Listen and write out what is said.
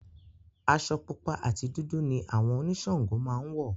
Aṣọ pupa àti dúdú ni àwọn oníṣàngó máa ń wọ̀